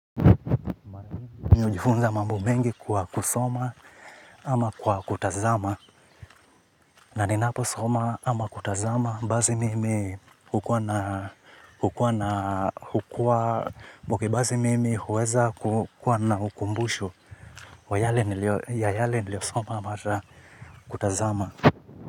Mii ujifunza mambo mengi kwa kusoma ama kwa kutazama. Na ninapo soma ama kutazama. Basi mimi hukua na hukua. Bazi mimi huweza kukua na ukumbusho. Wa yale niliosoma ama hata kutazama.